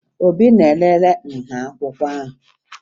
Obi na-elele nha akwụkwọ ahụ